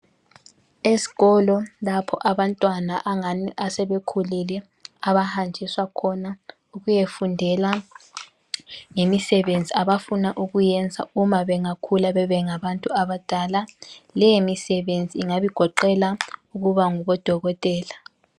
Esikolo lapho abantwana angani sebekhulile abahanjiswa khona ukuyefundela ngemisebenzi abafuna ukuyiyenza uma bengakhula babe ngabantu abadala leyo misebenzi ingabi goqela ukuba ngodokotela.